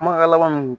Kumakan laban min